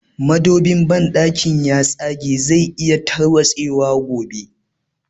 Madobin banɗakin ya tsage zai iya tarwatse wa gobe